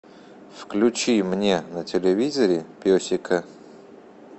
включи мне на телевизоре песика